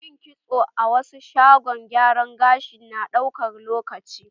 Yin kitso a wasu shagon gyaran gashi na ɗaukan lokaci.